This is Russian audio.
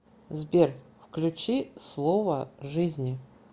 сбер включи слово жизни